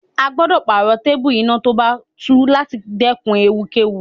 A gbọ́dọ̀ pààrọ̀ téépù iná tó bá tú láti dẹ́kun ewu kẹ́wu.